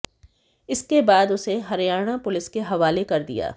इसके बाद उसे हरियाणा पुलिस के हवाले कर दिया